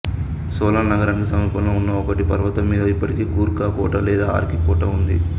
సోలన్ నగరానికి సమీపంలో ఉన్న ఒక పర్వతం మీద ఇప్పటికీ గూర్ఖా కోట లేదా ఆర్కి కోట ఉంది